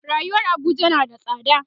rayuwar Abuja na da tsada